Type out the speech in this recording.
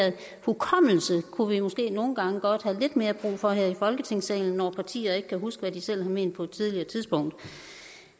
hukommelse kunne vi måske godt nogle gange have lidt mere brug for her i folketingssalen når partier ikke kan huske hvad de selv har ment på et tidligere tidspunkt